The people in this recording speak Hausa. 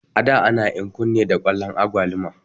A da ana enkun ne da kwalon agwaluma